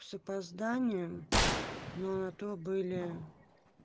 с опозданием но на то были